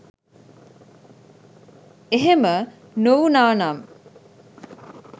එහෙම නොවුනානම්